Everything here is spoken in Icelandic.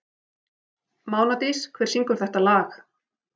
Mánadís, hver syngur þetta lag?